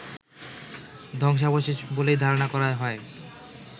ধ্বংসাবশেষ বলেই ধারণা করা হয়